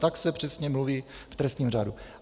Tak se přesně mluví v trestním řádu.